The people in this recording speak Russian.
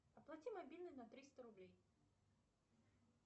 оплати мобильный на триста рублей